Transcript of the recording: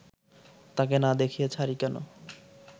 তাকে না দেখিয়ে ছাড়ি কেন